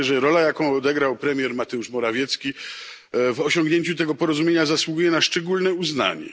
Myślę, że rola, jaką odegrał premier Mateusz Morawiecki w osiągnięciu tego porozumienia, zasługuje na szczególne uznanie.